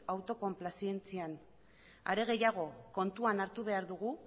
autokonplazentzian are gehiago kontuan hartu behar dugu